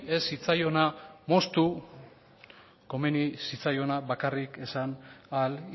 ez zitzaiona moztu komeni zitzaiona bakarrik esan ahal